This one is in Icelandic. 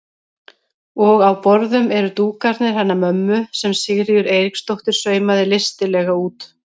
Og á borðum eru dúkarnir hennar mömmu sem Sigríður Eiríksdóttir saumaði listilega út.